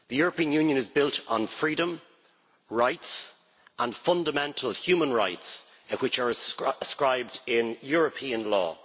The European Union is built on freedom, rights and fundamental human rights, which are inscribed in European law.